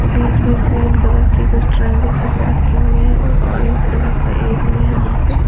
बीच में green colour के कुछ ट्रायंगल जैसे रखे हुए हैं और ऑरेंज कलर का एक भी है वहां पे।